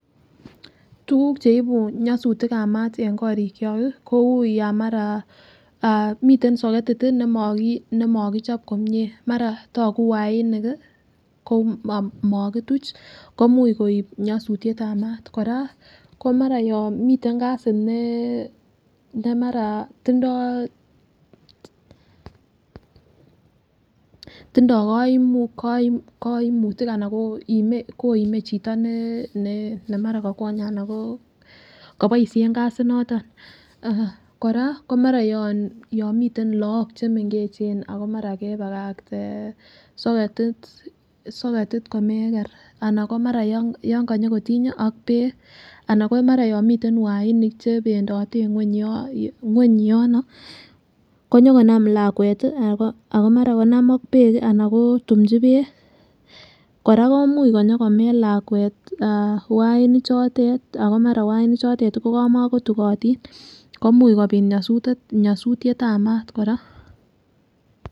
Tuguk cheibu nyosutik ab maat en korik kyok ih kou yan mara miten soketit nemakichop komie mara togu wainik ih ko mokituch komuch koib nyosutiet ab maat kora ko mara yon miten gasit ne mara tindoo koimutik anan koime chito ne mara kokwonye ana ko koboisien gasit noton kora ko mara yon miten look chemengech ako mara kebakakte soketit komeker ana ko mara yon konyokotiny ak beek anan ko mara yon miten wainik chebendote en ng'weny yon konyokonam lakwet ako mara konam ak beek ih ana kotumji beek kora komuch konyokomel lakwet wainik chotet ako mara wainik chotet kokamokotukotin komuch kobit nyosutiet ab maat kora